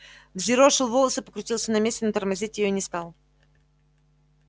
взъерошил волосы покрутился на месте но тормозить её не стал